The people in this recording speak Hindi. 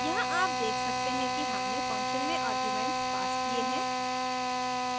यहाँ आप देख सकते हैं कि हमने function में आर्ग्यूमेंट्स passed किये हैं